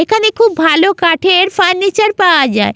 এখানে খুব ভালো কাঠের ফার্নিচার পাওয়া যায়--